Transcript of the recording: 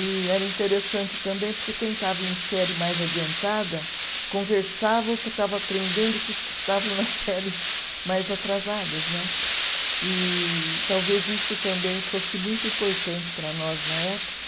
E era interessante também porque quem estava em série mais adiantada conversava o que estava aprendendo com os que estavam nas séries mais atrasadas né, e talvez isso também fosse muito importante para nós na época